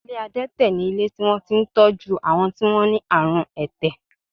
Ilé adẹ́tẹ̀ ni ilé tí wọ́n ti ń tọ́jú àwọn tí wọ́n ní àrùn ẹ̀tẹ̀